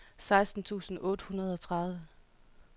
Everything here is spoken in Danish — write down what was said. seksten tusind otte hundrede og tredive